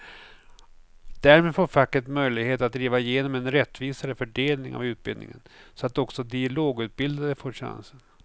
Därmed får facket möjlighet att driva igenom en rättvisare fördelning av utbildningen så att också de lågutbildade får chansen.